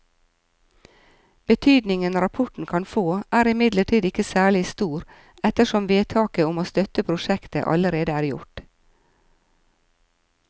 Betydningen rapporten kan få er imidlertid ikke særlig stor ettersom vedtaket om å støtte prosjektet allerede er gjort.